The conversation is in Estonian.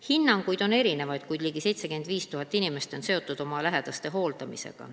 Hinnanguid on erinevaid, kuid võib öelda, et ligi 75 000 inimest on seotud oma lähedaste hooldamisega.